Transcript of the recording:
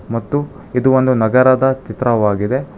ಮತ್ತು ಇದು ಒಂದು ನಗರದ ಚಿತ್ರವಾಗಿದೆ.